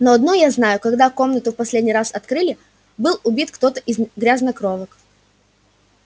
но одно я знаю когда комнату в последний раз открыли был убит кто-то из грязнокровок